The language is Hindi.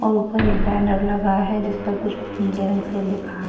और ऊपर एक बैनर लगा है जिस पर कुछ नीले रंग से लिखा हैं।